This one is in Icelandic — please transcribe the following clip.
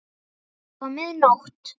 Það var mið nótt.